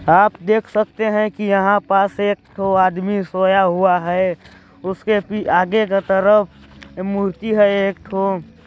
आप देख सकते हैं कि यहाँ पस एक ठो आदमी सोया हुआ है उसके आगे की तरफ मूर्ति है एक ठो।